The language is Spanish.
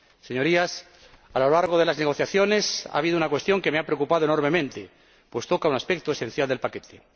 Señorías, a lo largo de las negociaciones ha habido una cuestión que me ha preocupado enormemente, pues toca un aspecto esencial del paquete.